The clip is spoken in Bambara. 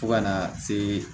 Fo kana se